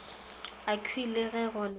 akhwi le ge go le